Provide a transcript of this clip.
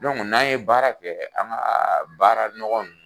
n'an ye baara kɛ an ka baara nɔgɔn ninnu